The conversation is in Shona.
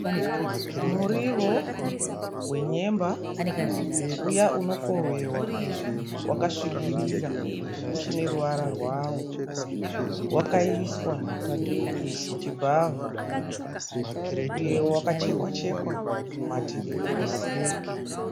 Muriwo wenyemba uya unokohwewa wakasvibirira uchine ruvara rwawo wakaiswa muchibhavha uye wakachekwa chekwa mativi ose.